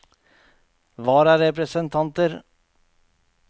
vararepresentanter